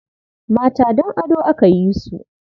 Mata don ado aka yi su.